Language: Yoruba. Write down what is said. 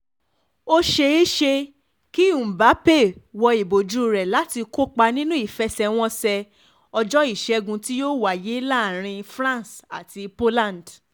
ó ṣẹ̀ẹ̀ṣẹ̀ kí mbappe wo ìbòjú rẹ̀ láti kópa nínú ìfẹsẹ̀wọnsẹ̀ ọjọ́ ìṣẹ́gun tí yóò wáyé láàrin france àti poland